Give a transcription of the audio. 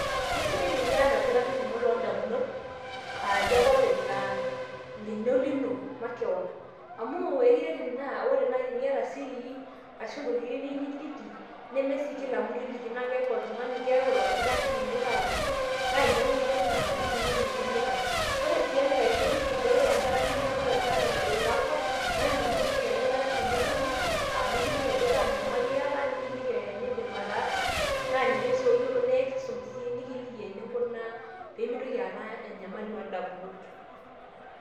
Keisidai teniata olkitarri lino loondamunot aayie ake openy laa ninye olino makeon amu ekiret ina ore naaji teniyata sirii ashu ntokitin akeyie niyieu niliki neme sii kila mtu iliki naa keeku oltung'ani, keeku ilo kitarri lino ake ilo aliki naa ninye ake oyiolo nyamalitin inonok metii likai. Ore sii enkae toki sidai ore enkata ninyamal ake hata ilakwa naa tiniwoshoki ele kitarri lino esimu nikiliki ajo kaanyamali iyata nikiliki enindim ataasa naa ninye sii oyiolo naa ekisum sii peemintoki aata enyamali oondamunot.